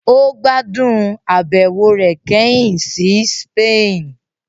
Ó gbádùn àbẹ̀wò rẹ̀ kẹ́hìn sí Spain